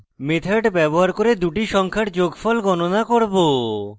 method ব্যবহার করে দুটি সংখ্যার যোগফল গণনা করব